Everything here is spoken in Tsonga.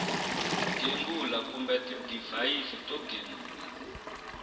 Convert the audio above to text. gembula kumbe tidivhayisi to gembula